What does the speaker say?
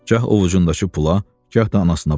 Gah ovucundakı pula, gah da anasına baxdı.